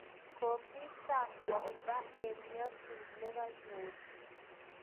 Komii sang pogba eng nyasuut nekanyoor